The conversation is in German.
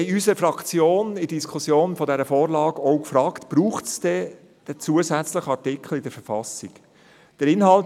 Wir haben uns in unserer Fraktion bei der Diskussion dieser Vorlage auch gefragt, ob es den zusätzlichen Artikel in der Verfassung braucht.